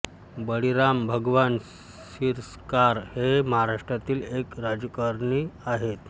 बळीराम भगवान सिरस्कार हे महाराष्ट्रातील एक राजकारणी आहेत